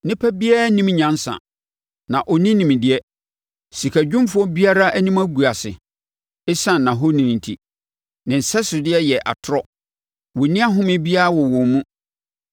“Onipa biara nnim nyansa, na ɔnni nimdeɛ; sikadwumfoɔ biara anim agu ase, ɛsiane nʼahoni enti. Ne nsɛsodeɛ yɛ atorɔ; wɔnni ahome biara wɔ wɔn mu.